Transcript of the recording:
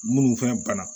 Munnu fɛnɛ banna